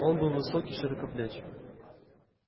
он был высок и широкоплеч